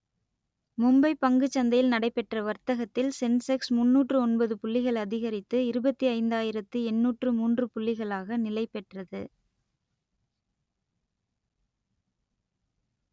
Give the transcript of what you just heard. மும்பை பங்குச் சந்தையில் நடைபெற்ற வர்த்தகத்தில் சென்செக்ஸ் முன்னூற்று ஒன்பது புள்ளிகள் அதிகரித்து இருபத்தி ஐந்தாயிரத்து எண்ணூற்று மூன்று புள்ளிகளாக நிலைபெற்றது